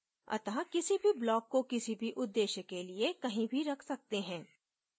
अत: किसी भी block को किसी भी उदेश्य के लिए कहीं भी रख सकते हैं